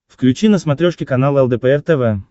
включи на смотрешке канал лдпр тв